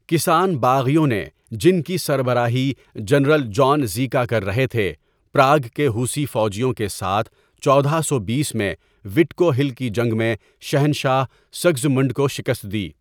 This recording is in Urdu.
کسان باغیوں نے، جن کی سربراہی جنرل جان زیکا کر رہے تھے، پراگ کے ہُوسی فوجیوں کے ساتھ، چودہ سو بیس میں وِٹکو ہل کی جنگ میں شہنشاہ سگسمنڈ کو شکست دی۔